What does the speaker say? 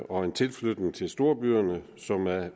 og en tilflytning til storbyerne som er